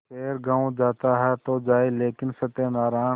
खैर गॉँव जाता है तो जाए लेकिन सत्यनारायण